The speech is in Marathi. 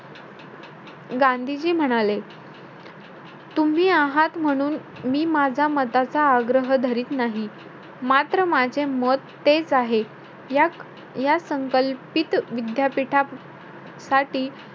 गांधीजी म्हणाले तुम्ही आहात म्हणून, मी माझा मताचा आग्रह धरीत नाही. मात्र माझे मत तेच आहे. याक~ या संकल्पित विद्यापीठासाठी,